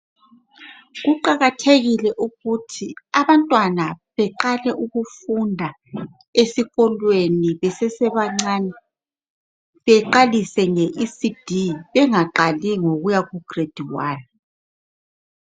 Kuqakathekile ukuthi abantwana beqale ukufunda esikolweni besesebancane, beqalise nge Ecd bengaqali ngokuya ku grade wani.